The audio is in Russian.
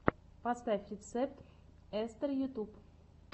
поставь рецепт эстээр ютьюб